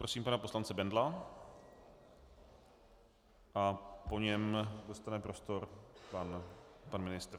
Prosím pana poslance Bendla a po něm dostane prostor pan ministr.